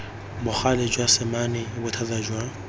bogale jwa semane bothata jwa